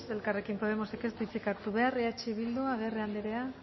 elkarrekin podemosek ez du hitzik hartu behar eh bildu agirre andrea